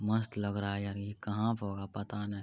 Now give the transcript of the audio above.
मस्त लग रहा है यार ये कहाँ पर होगा पता नाय।